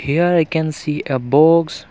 here i can see a box.